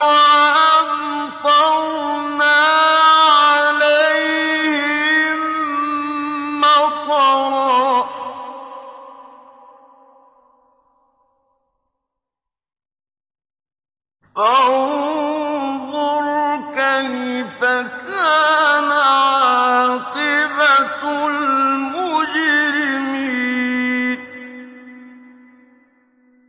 وَأَمْطَرْنَا عَلَيْهِم مَّطَرًا ۖ فَانظُرْ كَيْفَ كَانَ عَاقِبَةُ الْمُجْرِمِينَ